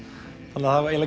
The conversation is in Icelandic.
þannig að það